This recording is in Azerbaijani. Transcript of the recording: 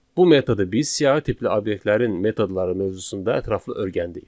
Bu metodu biz siyahı tipli obyektlərin metodları mövzusunda ətraflı öyrəndik.